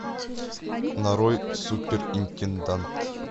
нарой суперинтендант